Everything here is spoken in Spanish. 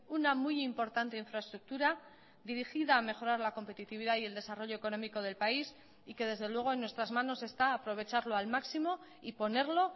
una muy importante infraestructura dirigida a mejorar la competitividad y el desarrollo económico del país y que desde luego en nuestras manos está aprovecharlo al máximo y ponerlo